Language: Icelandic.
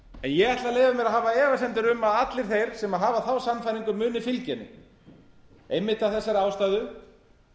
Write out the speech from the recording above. ég ætla að leyfa mér að hafa efasemdir um að allir sem hafa þá sannfæringu muni fylgja henni einmitt af þessari ástæðu